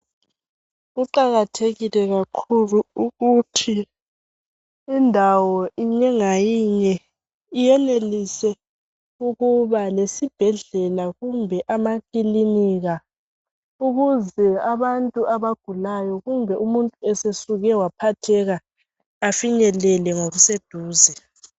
Kuqakathekile kakhulu ukuthi indawo inye ngayinye iyenelise ukuba lesibhedlela kumbe amakilinika ukuze abantu abagulayo kumbe umuntu esesuke waphatheka afinyelele ngoku seduze.